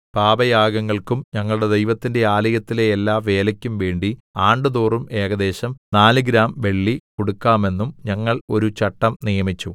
പാപയാഗങ്ങൾക്കും ഞങ്ങളുടെ ദൈവത്തിന്റെ ആലയത്തിലെ എല്ലാ വേലയ്ക്കും വേണ്ടി ആണ്ടുതോറും ഏകദേശം 4 ഗ്രാം വെള്ളി കൊടുക്കാമെന്നും ഞങ്ങൾ ഒരു ചട്ടം നിയമിച്ചു